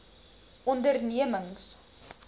ondernemings